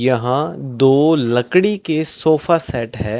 यहां दो लकड़ी के सोफा सेट है।